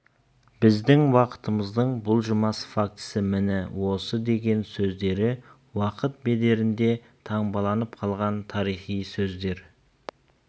біздің уақытымыздың бұлжымас фактісі міне осы деген сөздері уақыт бедерінде таңбаланып қалған тарихи сөздер